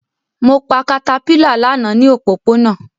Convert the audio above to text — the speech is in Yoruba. Mo pa caterpillar lana ni opopona